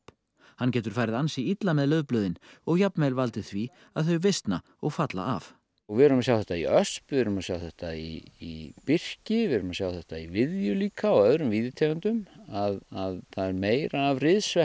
hann getur farið ansi illa með laufblöðin og jafnvel valdið því að þau visna og falla af við erum að sjá þetta í ösp við erum að sjá þetta í birki við erum að sjá þetta í viðju líka og öðrum víðitegundum að það er meira af